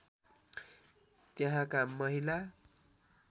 यहाँका महिला